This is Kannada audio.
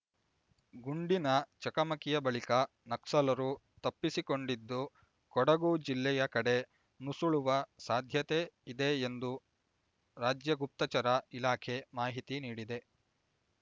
ಗುಂಡಿನ ಚಕಮಕಿಯ ಬಳಿಕ ನಕ್ಸಲರು ತಪ್ಪಿಸಿಕೊಂಡಿದ್ದು ಕೊಡಗು ಜಿಲ್ಲೆಯ ಕಡೆ ನುಸುಳುವ ಸಾಧ್ಯತೆಯಿದೆ ಎಂದು ರಾಜ್ಯ ಗುಪ್ತಚರ ಇಲಾಖೆ ಮಾಹಿತಿ ನೀಡಿದೆ